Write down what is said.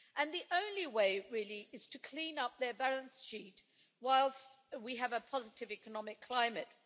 The only way is to clean up their balance sheet whilst we have a positive economic climate.